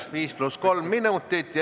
5 + 3 minutit.